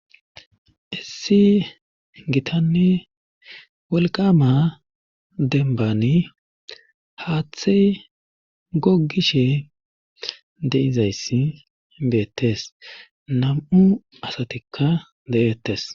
Issi gitanni wolqama denbani haaththe gogishe deizayssi beettes nam7u asatikka de7ettes.